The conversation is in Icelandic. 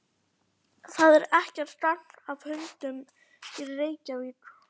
Það er ekkert gagn af hundunum hér í Reykjavík.